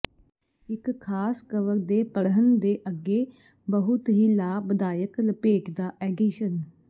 ਇੱਕ ਖਾਸ ਕਵਰ ਦੇ ਪੜ੍ਹਨ ਦੇ ਅੱਗੇ ਬਹੁਤ ਹੀ ਲਾਭਦਾਇਕ ਲਪੇਟਦਾ ਐਡੀਸ਼ਨ